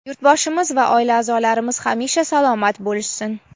yurtboshimiz va oila a’zolarimiz hamisha salomat bo‘lishsin.